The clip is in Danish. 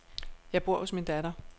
Jeg bor hos min datter.